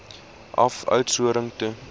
af oudtshoorn toe